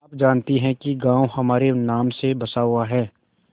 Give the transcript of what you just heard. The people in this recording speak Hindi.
आप जानती हैं कि गॉँव हमारे नाम से बसा हुआ है